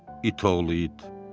İt oğlu it.